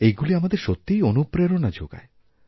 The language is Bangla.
এইগুলি আমাদেরসত্যিই অনুপ্রেরণা যোগায়